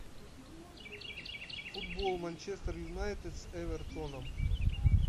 футбол манчестер юнайтед с эвертоном